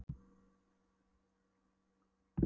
Þjóðkirkjunni og veita þeir einnig góða þjónustu.